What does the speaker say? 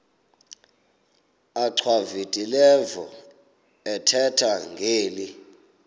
achwavitilevo ethetha ngeli